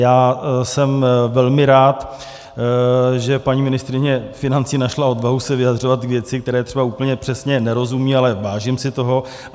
Já jsem velmi rád, že paní ministryně financí našla odvahu se vyjadřovat k věci, které třeba úplně přesně nerozumí, ale vážím si toho.